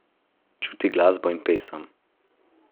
Čuti glasbo in pesem.